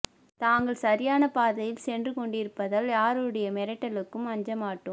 தாங்கள் சரியான பாதையில் சென்று கொண்டிருப்பதால் யாருடைய மிரட்டலுக்கும் அஞ்சமாட்டோம்